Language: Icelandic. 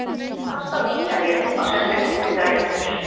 Pasta á Ítalíu á sér eldri rætur.